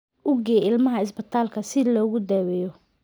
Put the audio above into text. U gee ilmaha isbitaalka si loogu daweeyo.